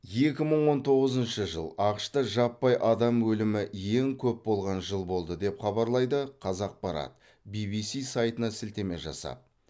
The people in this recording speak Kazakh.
екі мың он тоғызыншы жыл ақш та жаппай адам өлімі ең көп болған жыл болды деп хабарлайды қазақпарат ввс сайтына сілтеме жасап